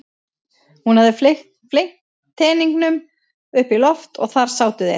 Hún hafði fleygt teningunum upp í loft og þar sátu þeir.